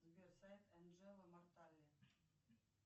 сбер сайт анджела мортале